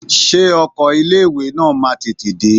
Ṣé ọkọ ilé ìwé náà máa tètè dé?